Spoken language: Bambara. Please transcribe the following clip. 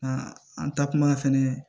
A an taa kuma fɛnɛ